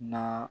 Na